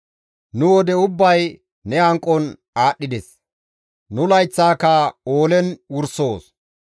Nu wode ubbay ne hanqon aadhdhides; nu layththaaka oolen wursoos.